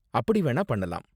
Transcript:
அப்படி வேணா பண்ணலாம்.